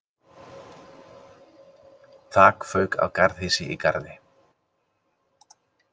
Þak fauk af garðhýsi í Garði